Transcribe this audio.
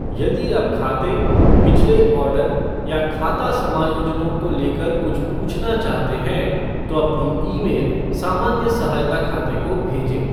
यदि आप खाते, पिछले ऑर्डर, या खाता समायोजनों को लेकर कुछ पूछना चाहते हैं, तो अपनी ईमेल सामान्य सहायता खाते को भेजें।